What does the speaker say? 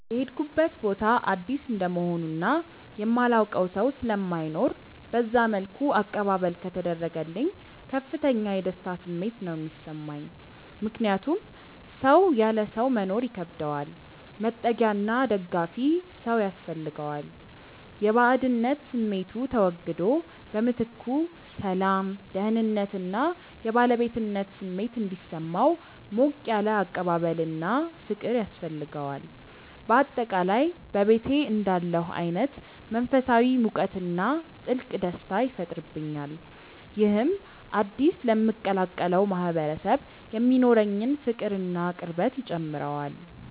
የሄድኩበት ቦታ አዲስ እንደመሆኑ እና የማላውቀው ሰው ስለማይኖር በዛ መልኩ አቀባበል ከተደረገልኝ ከፍተኛ የደስታ ስሜት ነው የሚሰማኝ። ምክንያቱም ሰው ያለ ሰው መኖር ይከብደዋል፤ መጠጊያና ደጋፊ ሰው ያስፈልገዋል። የባዕድነት ስሜቱ ተወግዶ በምትኩ ሰላም፣ ደህንነት እና የባለቤትነት ስሜት እንዲሰማው ሞቅ ያለ አቀባበልና ፍቅር ያስፈልገዋል። በአጠቃላይ በቤቴ እንዳለሁ አይነት መንፈሳዊ ሙቀትና ጥልቅ ደስታ ይፈጥርብኛል። ይህም አዲስ ለምቀላቀለው ማህበረሰብ የሚኖረኝን ፍቅርና ቅርበት ይጨምረዋል።